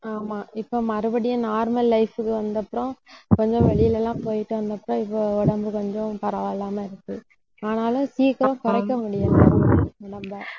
ஆமா, இப்ப மறுபடியும் normal life க்கு வந்தப்புறம், கொஞ்சம் வெளியில எல்லாம் போயிட்டு வந்தப்புறம் இப்ப உடம்பு கொஞ்சம் பரவாயில்லாம இருக்கு. ஆனாலும், சீக்கிரம் குறைக்க முடியலை உடம்பை